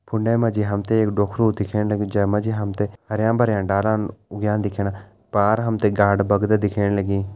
फुंडे मा जी हम तें एक ढोखरू दिखेण लग्युं जें मा जी हम तें हरयाँ भरयां डालन उग्यां दिखेण लग्यां पार हम तें गाड बग्दा दिखेण लगीं।